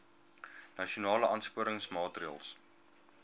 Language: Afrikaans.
nasionale aansporingsmaatre ls